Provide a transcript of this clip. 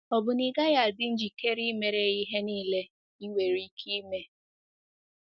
Ọ̀ bụ na ị gaghị adị njikere imere ya ihe niile i nwere ike ime?